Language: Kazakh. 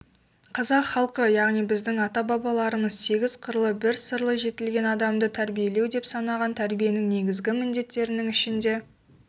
қазақ халқы яғни біздің ата-бабаларымыз сегіз қырлы бір сырлы жетілген адамды тәрбиелеу деп санаған тәрбиенің негізгі міндеттерінің ішінде